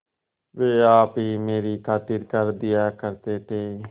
वे आप ही मेरी खातिर कर दिया करते थे